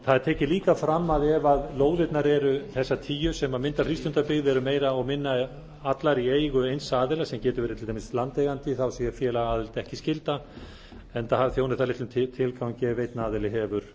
það er líka tekið fram að að ef þessar tíu lóðir sem mynda frístundabyggð eru meira og minna allar í eigu eins aðila sem gerður verið til dæmis landeigandi sé félagaaðild ekki skylda enda þjóni það litlum tilgangi ef einn aðili hefur